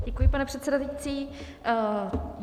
Děkuji, pane předsedající.